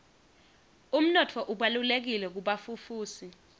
umnotfo ubalulekile kubafufusi